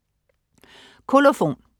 Kolofon